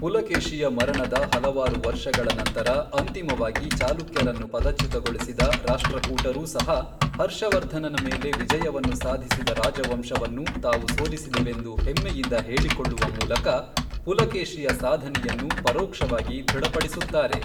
ಪುಲಕೇಶಿಯ ಮರಣದ ಹಲವಾರು ವರ್ಷಗಳ ನಂತರ ಅಂತಿಮವಾಗಿ ಚಾಲುಕ್ಯರನ್ನು ಪದಚ್ಯುತಗೊಳಿಸಿದ ರಾಷ್ಟ್ರಕೂಟರೂ ಸಹ, ಹರ್ಷವರ್ಧನನ ಮೇಲೆ ವಿಜಯವನ್ನು ಸಾಧಿಸಿದ ರಾಜವಂಶವನ್ನು ತಾವು ಸೋಲಿಸಿದೆವೆಂದು ಹೆಮ್ಮೆಯಿಂದ ಹೇಳಿಕೊಳ್ಳುವ ಮೂಲಕ ಪುಲಕೇಶಿಯ ಸಾಧನೆಯನ್ನು ಪರೋಕ್ಷವಾಗಿ ದೃಢಪಡಿಸುತ್ತಾರೆ.